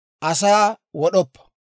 «Asaa wod'oppa.